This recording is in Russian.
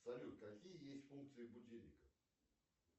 салют какие есть функции будильника